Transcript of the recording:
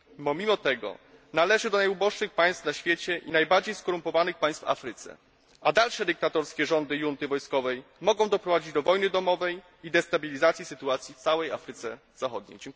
Pomimo tego należy do najuboższych państw na świecie i najbardziej skorumpowanych państw w Afryce, a dalsze dyktatorskie rządy junty wojskowej mogą doprowadzić do wojny domowej i destabilizacji sytuacji w całej Afryce Zachodniej.